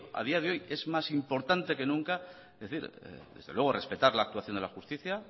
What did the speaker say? a día de hoy es más importante que nunca es decir desde luego respetar la actuación de la justicia